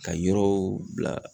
Ka yɔrɔw bila